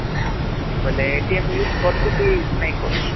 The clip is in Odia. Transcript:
ବୋଇଲେ use କରୁଛୁ କି ନାଇଁ କରୁ